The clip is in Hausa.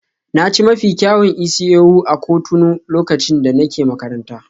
Na ci mafi kyawun isi-ewu a Cotonou lokacin da nake makaranta.